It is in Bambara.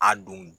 A don